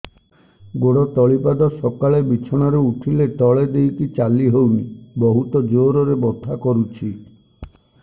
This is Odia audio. ଗୋଡ ତଳି ପାଦ ସକାଳେ ବିଛଣା ରୁ ଉଠିଲେ ତଳେ ଦେଇକି ଚାଲିହଉନି ବହୁତ ଜୋର ରେ ବଥା କରୁଛି